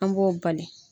An b'o bali